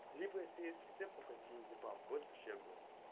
либо если есть рецепт на феназепам будет вообще огонь